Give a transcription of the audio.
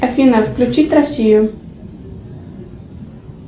афина включить россию